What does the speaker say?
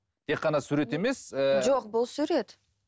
тек қана сурет емес ііі жоқ бұл сурет